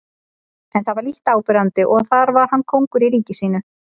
En það var lítt áberandi og þar var hann kóngur í ríki sínu.